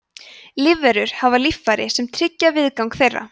lífverur hafa líffæri sem tryggja viðgang þeirra